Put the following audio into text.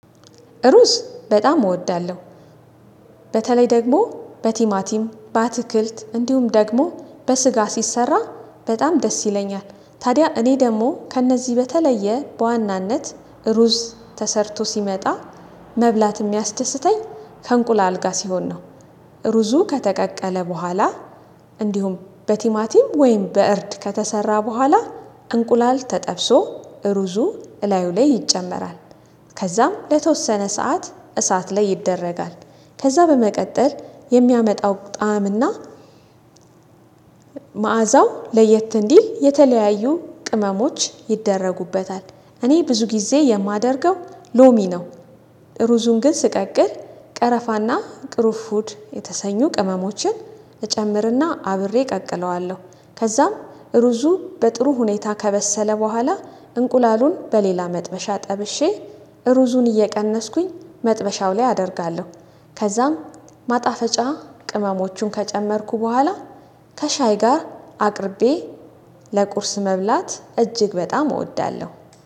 ሩዝ በጣም እወዳለሁ። በተለይ ደግሞ በቲማቲም በአትክልት እንዲሁም ደግሞ በስጋ ሲሰራ በጣም ደስ ይለኛል። ታዲያ እኔ ደግሞ ከእነዚህ በተለየ በዋናነት ሩዝ ተሰርቶ ሲመጣ መብላት የሚያስደስተኝ ከእንቁላል ጋር ሲሆን ነው። ሩዙ ከተቀቀለ በኋላ እንዲሁም በቲማቲም ወይም በእርድ ከተሰራ በኋላ እንቁላል ተጠብሶ እሩዙ እላዩ ላይ ይጨመራል። ከዛም ለተወሰነ ሰዓት እሳት ላይ ይደረጋል። ከዛ በመቀጠል የሚያመጣው ጣዕም እና መዓዛው ለየት እንዲል የተለያዩ ቅመሞች ይደረጉበታል። እኔ ብዙ ጊዜ የማደርገው ሎሚ ነው። ሩዙን ግን ስቀቅል ቀረፋና ቅርፉድ የተሰኙ ቅመሞችን እጨምርና አብሬ እቀቅለዋለሁ። ከዛም ሩዙ በጥሩ ሁኔታ ከበሰለ በኋላ እንቁላሉን በሌላ መጥበሻ ጠብሼ ሩዙን እየቀነስኩኝ መጥበሻው ላይ አደርጋለሁ። ከዛም ማጣፈጫ ቅመሞቹን ከጨመርኩ በኋላ ከሻይ ጋር አቅርቤ ለቁርስ መብላት እጅግ በጣም እወዳለሁ